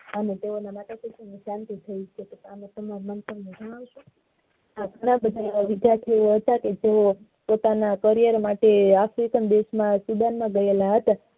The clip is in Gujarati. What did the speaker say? આ લોકો માટે વિદ્યાર્થી હતા કે જે પોતાના કરિયર માટે africa દેશ ના student બનિયા હતા